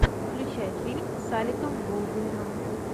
включай фильм с алеком болдуином